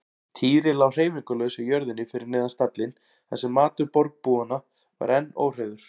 Týri lá hreyfingarlaus á jörðinni fyrir neðan stallinn þar sem matur bergbúanna var enn óhreyfður.